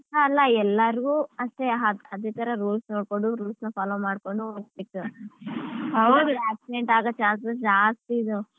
ಅಲ್ಲ ಎಲ್ಲರಿಗೂ ಅಷ್ಟೇ ಅದೇತರ rules ನೋಡ್ಕೊಂಡು rules ನ follow ಮಾಡ್ಕೊಂಡು ಹೋಗ್ಬೇಕು accident ಆಗೋ chances ಜಾಸ್ತಿ ಇದಾವ್.